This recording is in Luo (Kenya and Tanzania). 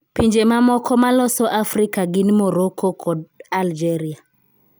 Pinje mamoko maloso Afrika gin Morocco kod Algeria.